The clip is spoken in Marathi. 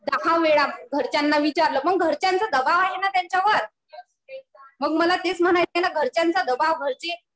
दहा वेळा घरच्यांना विचारलं. मग घरच्यांचा दबाव आहे ना त्यांच्यावर. मग मला तेच म्हणायचंय घरच्यांचा दबाव घरचे